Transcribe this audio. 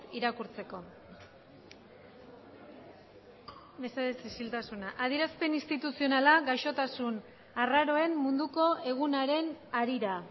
irakurtzeko mesedez isiltasuna adierazpen instituzionala gaixotasun arraroen munduko egunaren harira